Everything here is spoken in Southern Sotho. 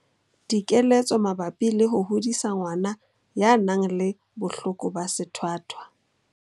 Dikeletso mabapi le ho hodisa ngwana ya nang le bohloko ba sethwathwa.